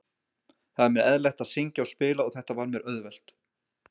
Það er mér eðlilegt að syngja og spila og þetta var mér auðvelt.